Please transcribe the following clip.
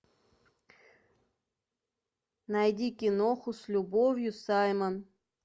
найди киноху с любовью саймон